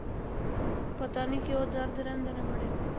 ਪਤਾ ਨੀ ਕਿਉਂ ਦਰਦ ਰਹਿੰਦੇ ਨੇ ਬੜੇ।